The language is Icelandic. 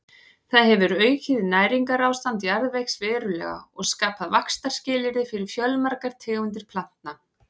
Það hefur aukið næringarástand jarðvegs verulega og skapað vaxtarskilyrði fyrir fjölmargar tegundir plantna.